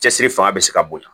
Cɛsiri fanga bɛ se ka bonya